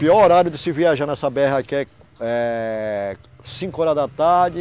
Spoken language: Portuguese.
Pior horário de se viajar nessa bê erre aqui é, é cinco horas da tarde,